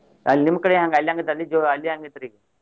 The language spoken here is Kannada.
ಅಲ್ಲಿ ನಿಮ್ ಕಡೆ ಅಲ್ಲಿ ಹೆಂಗ ಅಲ್ಲಿ ಹೆಂಗ ಐತ್ರಿ ಈಗ?